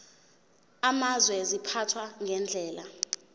amazwe ziphathwa ngendlela